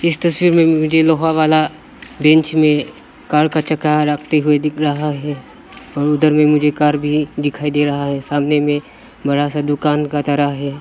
इस तस्वीर में मुझे लोहा वाला बेंच में कार का चक्का रखते हुए दिख रहा है उधर में मुझे कार भी दिखाई दे रहा है सामने में बड़ा सा दुकान का तरह है।